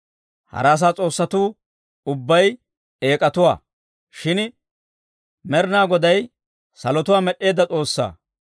Hara asaa s'oossatuu ubbay eek'atuwaa; shin Med'inaa Goday salotuwaa med'd'eedda S'oossaa.